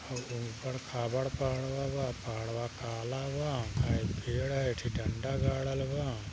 उबड़ खाबड़ पहाडवा बा पहाडवा काला बा हाय एक पेड़ है एक ठं डंडा गडल बा।